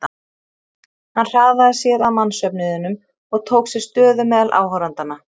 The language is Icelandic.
Hann hraðaði sér að mannsöfnuðinum og tók sér stöðu meðal áhorfendanna.